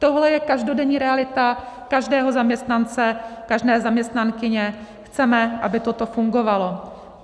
Tohle je každodenní realita každého zaměstnance, každé zaměstnankyně, chceme, aby toto fungovalo.